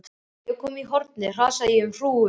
Þegar ég var komin í hornið hrasaði ég um hrúgu.